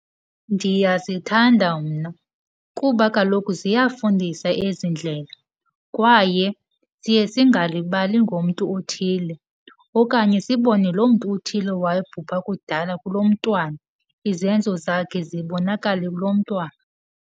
Ndiyazithanda mna kuba kaloku ziyafundisa ezi ndlela kwaye siye singalibali ngomntu othile okanye sibone loo mntu uthile wabhubha kudala kulo mntwana, izenzo zakhe zibonakale kulo mntwana.